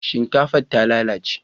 shinkafan ta lalace